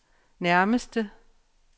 nærmeste